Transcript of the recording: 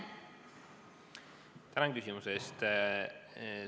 Tänan küsimuse eest!